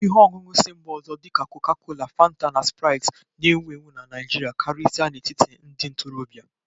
Ihe ọṅụṅụ si mba ọzọ dị ka Coca-Cola, Fanta, na Sprite na-ewu ewu na Naijiria, karịsịa n'etiti ndị ntorobịa